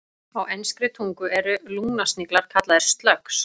Á enskri tungu eru lungnasniglar kallaðir slugs.